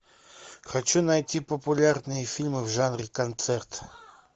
хочу найти популярные фильмы в жанре концерт